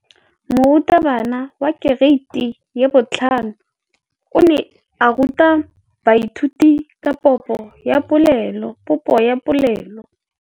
Moratabana wa kereiti ya 5 o ne a ruta baithuti ka popô ya polelô.